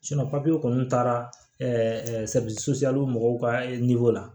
papiye kɔni taara mɔgɔw ka la